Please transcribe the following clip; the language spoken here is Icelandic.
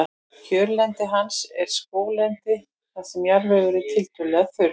Kjörlendi hans er skóglendi þar sem jarðvegur er tiltölulega þurr.